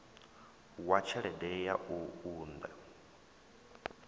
wa tshelede ya u unḓa